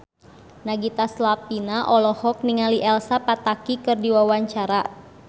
Nagita Slavina olohok ningali Elsa Pataky keur diwawancara